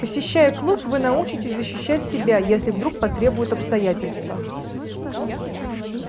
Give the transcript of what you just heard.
посещая клуб вы научитесь защищать себя если вдруг потребуют обстоятельства